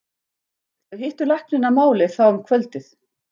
Þau hittu lækninn að máli þá um kvöldið.